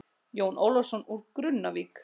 Jón Ólafsson úr Grunnavík.